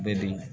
Bɛ di